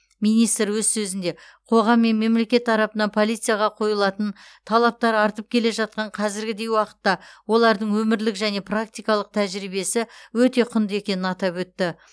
министр өз сөзінде қоғам мен мемлекет тарапынан полицияға қойылатын талаптар артып келе жатқан қазіргідей уақытта олардың өмірлік және практикалық тәжірибесі өте құнды екенін атап өтті